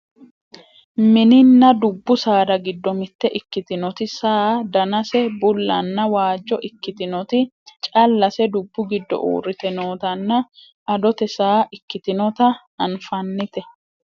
mininna dubbu saada giddo mitte ikkitinoti saa danase bullanna waajjo ikkitinoti callase dubbu giddo uurrite nootanna adote saa ikkitinota anfannite